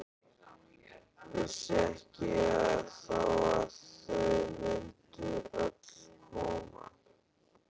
Vissi ekki þá að þau mundu öll koma.